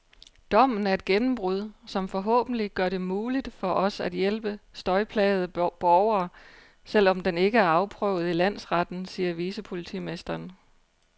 Dommen er et gennembrud, som forhåbentlig gør det muligt for os at hjælpe støjplagede borgere, selv om den ikke er afprøvet i landsretten, siger vicepolitimesteren.